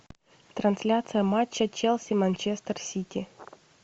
трансляция матча челси манчестер сити